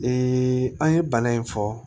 an ye bana in fɔ